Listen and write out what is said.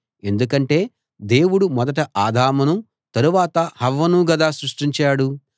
ఎందుకంటే దేవుడు మొదట ఆదామును తరువాత హవ్వను గదా సృష్టించాడు